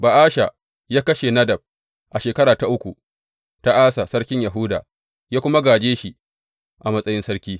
Ba’asha ya kashe Nadab a shekara ta uku ta Asa sarkin Yahuda, ya kuma gāje shi a matsayin sarki.